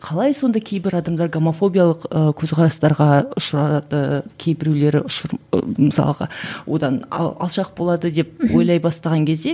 қалай сонда кейбір адамдар гомофобиялық ы көзқарастарға ұшырады кейбіреулері мысалға одан алшақ болады деп ойлай бастаған кезде